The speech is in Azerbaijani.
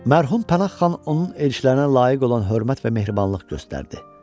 Mərhum Pənah xan onun elçilərinə layiq olan hörmət və mehribanlıq göstərdi.